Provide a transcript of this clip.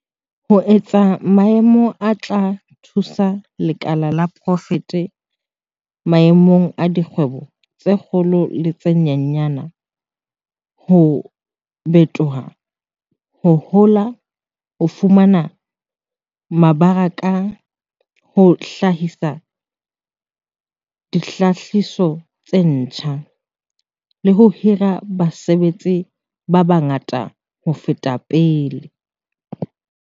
"ho etsa maemo a tla thusa lekala la poraefete maemong a dikgwebo tse kgolo le tse nyenyane ho bitoha, ho hola, ho fumana mebaraka, ho hlahisa dihlahiswa tse ntjha, le ho hira basebetsi ba bangata ho feta pele."